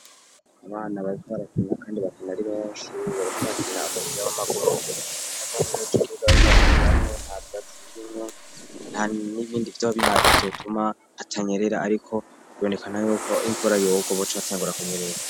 Abana babiwarakimya, kandi bakina ari benshi ibora kubakina abakira b'amaguru yakonenocokiruga bkobakiniyamwe avwazi ibirimwo nta n'ibindi vyo babiharieivyotuma hatanyerera, ariko bonekana yuko imvura yogwo boco abatengura kunyerera.